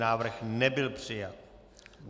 Návrh nebyl přijat.